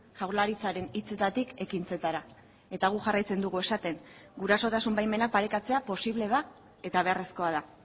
jaurlaritzaren hitzetatik ekintzetara eta guk jarraitzen dugu esaten gurasotasun baimenak parekatzea posible da eta beharrezkoa da